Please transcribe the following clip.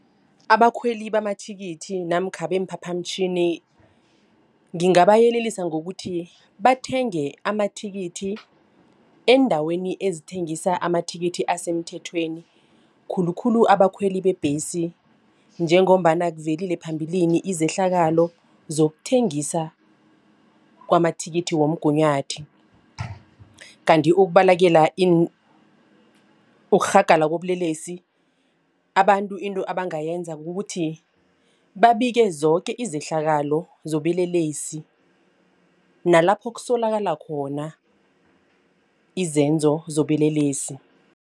Abakhweli bamathikithi namkha beemphaphamtjhini. Ngingabayelelisa ngokuthi bathenge amathikithi eendaweni ezithengisa amathikithi asemthethweni khulukhulu abakhweli bebhesi. Njengombana kuvelile phambilini izehlakalo zokuthengisa kwamathikithi womgunyathi. Kanti ukubalekela ukurhagala kobulelesi abantu into abangayenza kukuthi babike zoke izehlakalo zobelelesi nalapho kusolakala khona izenzo zobelelesi.